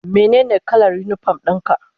Menene kalar unipom ɗin ka?